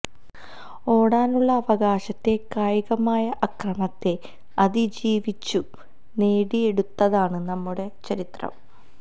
ഓടാനുള്ള അവകാശത്തെ കായികമായ അക്രമത്തെ അതിജീവിച്ചും നേടിയെടുത്തതാണ് നമ്മുടെ ചരിത്രം